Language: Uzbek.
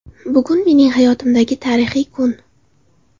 Bugun mening hayotimdagi tarixiy kun.